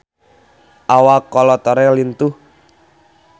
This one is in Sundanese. Awak Kolo Taure lintuh